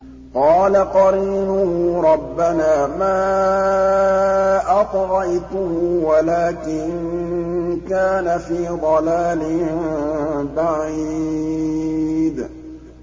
۞ قَالَ قَرِينُهُ رَبَّنَا مَا أَطْغَيْتُهُ وَلَٰكِن كَانَ فِي ضَلَالٍ بَعِيدٍ